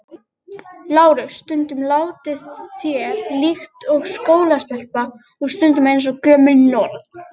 LÁRUS: Stundum látið þér líkt og skólastelpa og stundum eins og gömul norn.